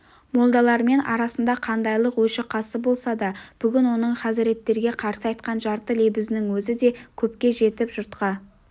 молдалармен арасында қандайлық өші-қасы болса да бүгін оның хазіреттерге қарсы айтқан жарты лебізінің өзі де көпке жетіп жұртқа